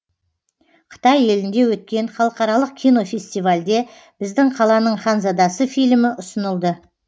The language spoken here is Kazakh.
қытай елінде өткен халықаралық кинофестивальде біздің қаланың ханзадасы фильмі ұсынылды